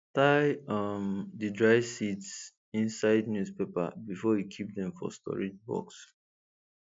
tie um the dry seeds inside newspaper before you keep dem for storage box